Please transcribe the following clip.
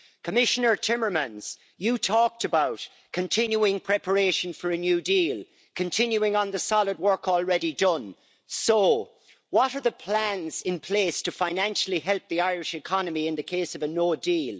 Commissioner Timmermans, you talked about continuing preparation for a new deal, continuing the solid work already done. So, what are the plans in place to financially help the Irish economy in the case of a no deal?